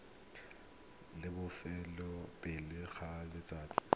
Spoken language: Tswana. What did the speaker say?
la bofelo pele ga letsatsi